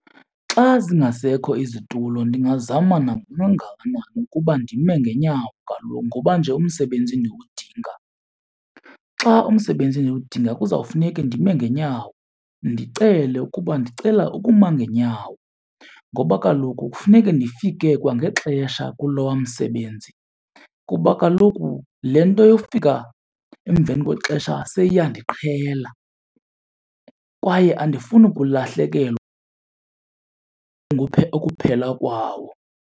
Xa zingasekho izitulo ndingazama nakangakanani ukuba ndime ngeenyawo kaloku ngoba nje umsebenzi ndiwudinga. Xa umsebenzi ndiwudinga kuzawufuneke ndime ngeenyawo ndicele ukuba ndicela ukuma ngeenyawo. Ngoba kaloku kufuneke ndifike kwangexesha kulowa msebenzi kuba kaloku le nto yofika emveni kwexesha seyiyandiqhela kwaye andifuni kulahlekelwa ukuphela kwawo.